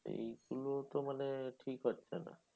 এইগুলো তো মানে ঠিক হচ্ছে না।